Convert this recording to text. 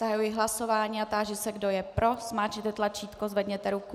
Zahajuji hlasování a táži se, kdo je pro, zmáčkněte tlačítko, zvedněte ruku.